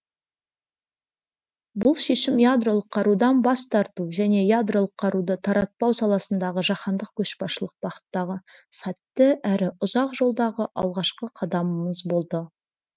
бұл шешім ядролық қарудан бас тарту және ядролық қаруды таратпау саласындағы жаһандық көшбасшылық бағыттағы сәтті әрі ұзақ жолдағы алғашқы қадамымыз болды